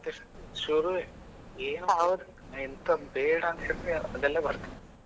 ಶುರುವೇ ಎಂತಾ ಬೇಡ ಅಂತ ಹೇಳಿದ್ರು ಅದೆಲ್ಲ ಬರುತ್ತೆ